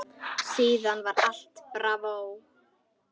Síðan var allt bravó.